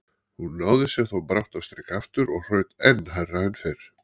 Hún náði sér þó brátt á strik aftur og hraut enn hærra en fyrr.